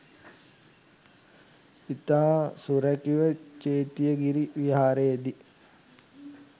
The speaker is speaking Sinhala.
ඉතා සුරැකිව චේතියගිරි විහාරයේදී